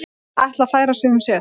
Ætla að færa sig um set